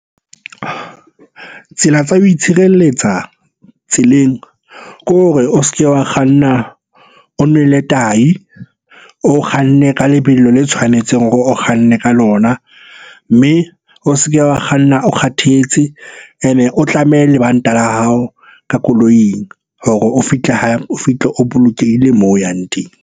Tsela tsa ho itshireletsa tseleng ke hore e o se ke wa kganna o nwele tahi. O kganne ka lebelo le tshwanetseng hore o kganne ka lona. Mme o se ke wa kganna o kgathetse, ene o tlame lebanta la hao ka koloing hore o fitlhe o bolokehile moo o yang teng.